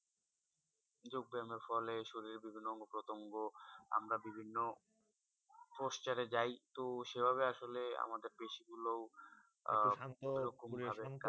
যোগ ব্যায়াম এর ফলে শরীরে বিভিন্ন অঙ্গ প্রত্যঙ্গ আমরা বিভিন্ন posture এ যাই তো সেভাবে আসলে আমাদের পেশি গুলোও আহ